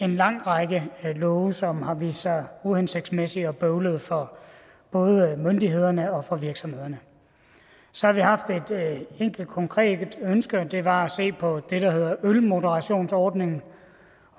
en lang række love som har vist sig uhensigtsmæssige og bøvlede for både myndighederne og og virksomhederne så har vi haft et enkelt konkret ønske det var at se på det der hedder ølmoderationsordningen